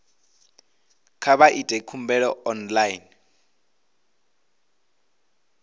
kha vha ite khumbelo online